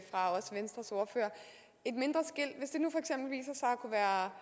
en at kunne være